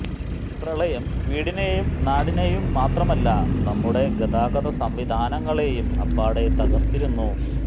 പ്രളയം വീടിനെയും നാടിനെയും മാത്രമല്ല നമ്മുടെ ഗതാഗത സംവിധാനങ്ങളെയും അപ്പാടെ തകര്ത്തിരുന്നു